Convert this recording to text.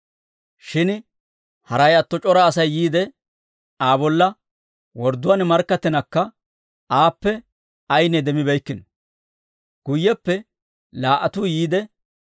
Shin haray atto c'ora Asay yiide, Aa bolla wordduwaan markkattinakka aappe ayinne demmibeykkino. Guyyeppe laa"atuu yiide,